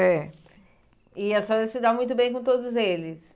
É. E a senhora se dá muito bem com todos eles.